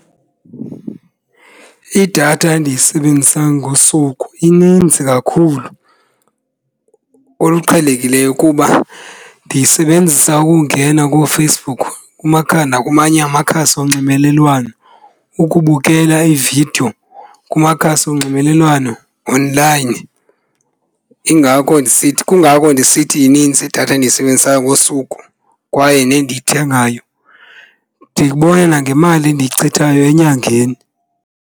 Idatha endiyisebenzisa ngosuku ininzi kakhulu oluqhelekileyo kuba ndiyisebenzisa ukungena kooFacebook nakumanye amakhasi onxibelelwano ukubukela iividiyo kumakhasi onxibelelwano onlayini. Yingako, kungako ndisithi inintsi idatha endiyisebenzisayo ngosuku kwaye nendiyithengayo, ndikubona nangemali endiyichithayo enyangeni.